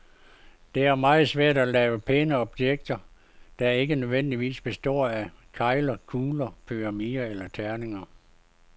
Det er meget svært at lave pæne objekter, der ikke nødvendigvis består af kegler, kugler, pyramider eller terninger.